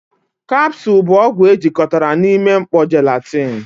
kapusu bụ ọgwụ ejikọtara na ime mkpó jelatini.